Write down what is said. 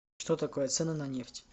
что такое цены на нефть